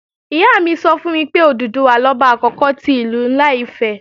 Ìyá mi sọ fún mi pé, Òdùduwà lọba àkókò ti Ìlú ńlá Ifẹ̀